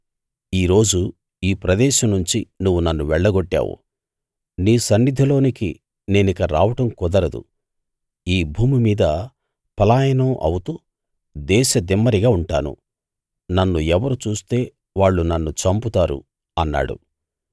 ఈ రోజు ఈ ప్రదేశం నుంచి నువ్వు నన్ను వెళ్ళగొట్టావు నీ సన్నిధిలోకి నేనిక రావడం కుదరదు ఈ భూమి మీద పలాయనం అవుతూ దేశదిమ్మరిగా ఉంటాను నన్ను ఎవరు చూస్తే వాళ్ళు నన్ను చంపుతారు అన్నాడు